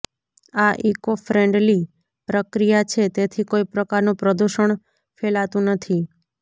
આ eco friendly પ્રક્રિયા છે તેથી કોઇ પ્રકારનું પ્રદૂષણ ફેલાતું નથી